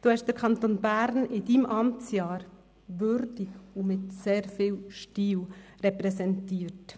Sie haben den Kanton Bern in Ihrem Amtsjahr würdig und mit sehr viel Stil repräsentiert.